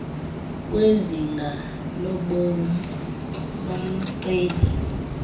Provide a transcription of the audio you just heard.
kwezinga lobom lomceli